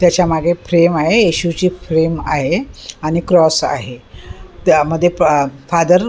त्याच्या मागे फ्रेम आहे येशूची फ्रेम आहे आणि क्रॉस आहे त्यामध्ये पा फादर --